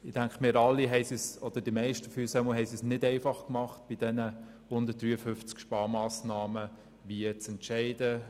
Ich denke, wir alle oder zumindest die meisten von uns haben es sich bei diesen 153 Sparmassnahmen nicht leicht gemacht, sich zu entscheiden.